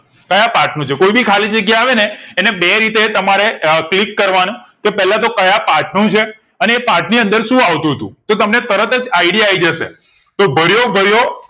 ક્યાંપથ નું છે કોઈ ભી ખાલીજગ્યા આવે ને અને બે રીતે તમારે click કરવા નું કે પેલા તો કતો યા પાઠ નું છે અને એ પાથ ની અંદર શું આવતું તું તો તમને તરત જ idea આઈજશે તો ભર્યો ભર્યો